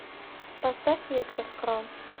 поставь виктор крон